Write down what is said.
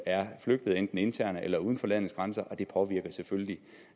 er flygtet enten internt eller uden for landets grænser og det påvirker selvfølgelig